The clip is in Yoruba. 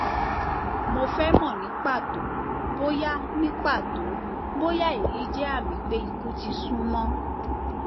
mo fẹ mọ ní pàtó bóyá ní pàtó bóyá èyí jẹ àmì pé ikú ti súnmọ